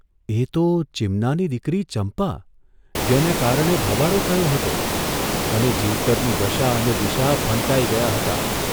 એ તો ચીમનાની દીકરી ચંપા જેને કારણે ભવાડો થયો હતો અને જીવતરની દશા અને દિશા ફંટાઇ ગયા હતા !